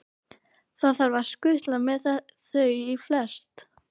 Það þarf að skutlast með þau í flest.